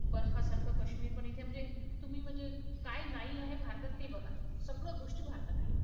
बर्फासारखं काश्मीर पण इथेयं म्हणजे, तुम्ही म्हणजे काय नाई आहे भारतात ते बघा. सगळं गोष्टी भारतात आहे.